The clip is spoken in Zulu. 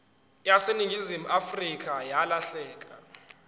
yaseningizimu afrika yalahleka